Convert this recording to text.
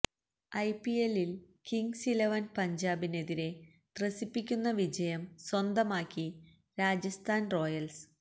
ഐപിഎല്ലിൽ Kings Eleven പഞ്ചാബിനെതിരെ ത്രസിപ്പിയ്ക്കുന്ന വിജയം സ്വന്തമാക്കി രാജസ്ഥാൻ റോയൽസ്